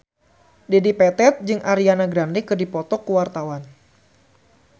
Dedi Petet jeung Ariana Grande keur dipoto ku wartawan